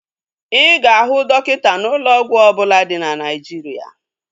Ị ga-ahụ dọkịta n'ụlọ ọgwụ ọbụla dị na Naijiria